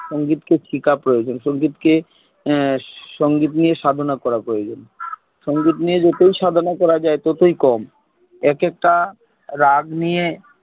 সঙ্গীত কে শিখা প্রয়োজন সঙ্গীত কে সঙ্গীত নিয়ে সাধনা করা প্রয়োজন সঙ্গীত যতই সাধনা করা যাই ততই কম এক এক টা রাগ নিয়ে